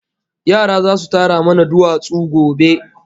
Yara zasu tara mana duwatsu gobe